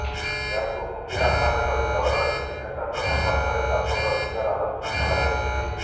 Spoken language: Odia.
ଏହାକୁ ମୁଖ୍ୟ ଆଧାର କରି ଦଳର କିଛି ନେତାଙ୍କ ସଂପର୍କରେ ବ୍ୟାପକ ବିଚାର ଆଲୋଚନା କରାଯାଇଛି